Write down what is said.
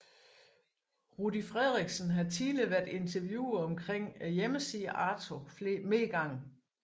Rudy Frederiksen har tidligere været interviewet omkring hjemmesiden Arto flere gange